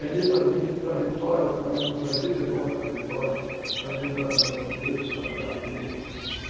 Ganhei de para Vitória também uma passagem de ida e volta para Vitória, também de uma empresa que eu trabalhava com eles.